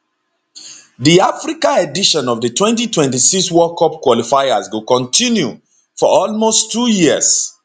di africa edition of di 2026 world cup qualifiers go kontinu for almost two years